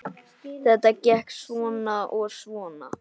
Þetta gekk svona og svona.